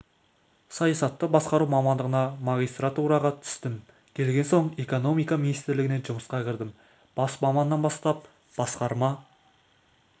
саясатты басқару мамандығына магистратураға түстім келген соң экономика министрлігіне жұмысқа кірдім бас маманнан бастап басқарма